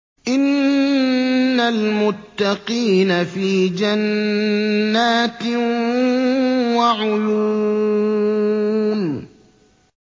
إِنَّ الْمُتَّقِينَ فِي جَنَّاتٍ وَعُيُونٍ